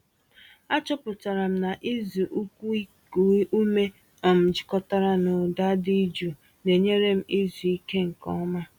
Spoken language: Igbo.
Achọpụtara m na ịzụ ụkwụ iku ume um jikọtara na ụda dị jụụ na-enyere m izu ike nke ọma.